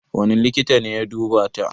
Wane likita ne ya duba ta?